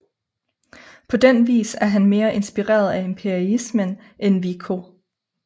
På den vis er han mere inspireret af empirismen end Vico